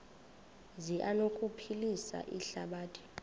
zi anokuphilisa ihlabathi